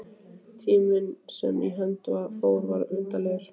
Tíminn sem í hönd fór var undarlegur.